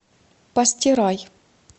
постирай